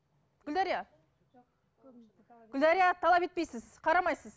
гүлдәрия гүлдәрия талап етпейсіз қарамайсыз